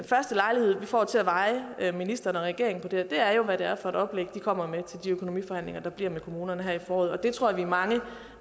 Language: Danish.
får til at veje ministeren og regeringen på det her er jo hvad det er for et oplæg de kommer med til de økonomiforhandlinger der bliver med kommunerne her i foråret og det tror jeg at vi er mange